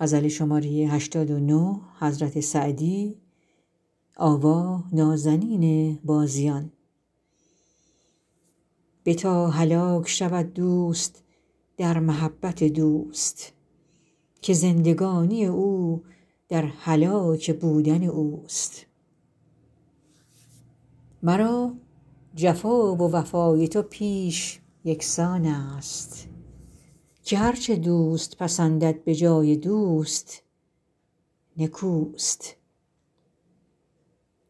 بتا هلاک شود دوست در محبت دوست که زندگانی او در هلاک بودن اوست مرا جفا و وفای تو پیش یکسان است که هر چه دوست پسندد به جای دوست نکوست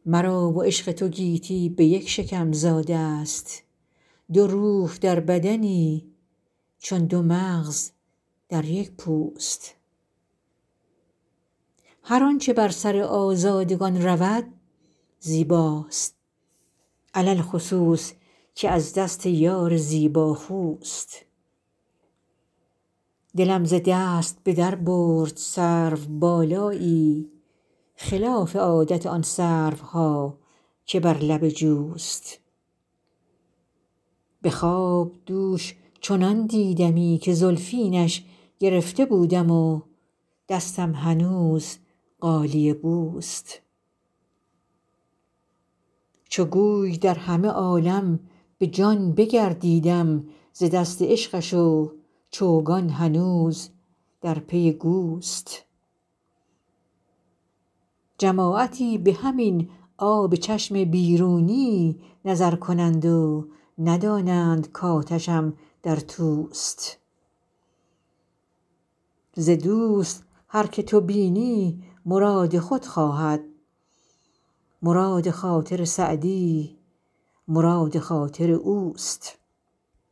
مرا و عشق تو گیتی به یک شکم زاده ست دو روح در بدنی چون دو مغز در یک پوست هر آنچه بر سر آزادگان رود زیباست علی الخصوص که از دست یار زیباخوست دلم ز دست به در برد سروبالایی خلاف عادت آن سروها که بر لب جوست به خواب دوش چنان دیدمی که زلفینش گرفته بودم و دستم هنوز غالیه بوست چو گوی در همه عالم به جان بگردیدم ز دست عشقش و چوگان هنوز در پی گوست جماعتی به همین آب چشم بیرونی نظر کنند و ندانند کآتشم در توست ز دوست هر که تو بینی مراد خود خواهد مراد خاطر سعدی مراد خاطر اوست